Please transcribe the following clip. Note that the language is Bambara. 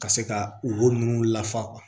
Ka se ka wo ninnu lafa